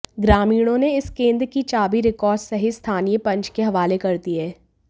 ग्रामीणों ने इस केंद्र की चाबी रिकार्ड सहित स्थानीय पंच के हवाले कर दी है